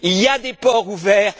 Il y a des ports ouverts